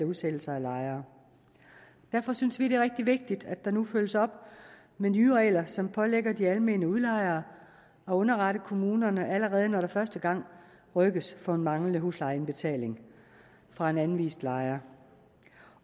udsættelser af lejere derfor synes vi det er rigtig vigtigt at der nu følges op med nye regler som pålægger de almene udlejere at underrette kommunerne allerede når der første gang rykkes for en manglende huslejeindbetaling fra en anvist lejer